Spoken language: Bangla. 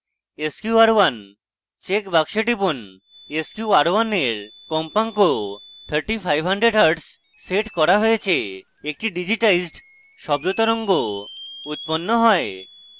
sqr1 check box টিপুন sqr1 এর কম্পাঙ্ক 3500hz set করা হয়েছে একটি digitized শব্দ তরঙ্গ উৎপন্ন হয়